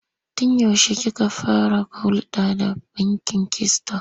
Tun yaushe kika fara hulɗa da bankin Kisiton?